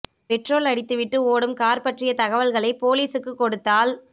petrol அடித்து விட்டு ஓடும் கார் பற்றிய தகவல்களை போலீஸுக்குக் கொடுத்தால்